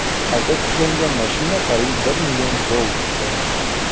Qayta tiklangan mashina qariyb bir million dollar turadi.